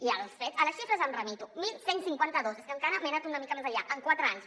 i a les xifres em remeto onze cinquanta dos és que encara me n’he anat una mica més enllà en quatre anys